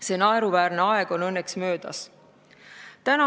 See naeruväärne aeg on õnneks möödas.